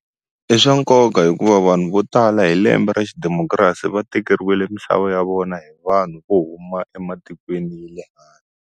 I swa nkoka hikuva vanhu vo tala hi lembe ra xi democracy va tekeriwile mixavo ya vona hi vanhu vo huma ematikweni ya le .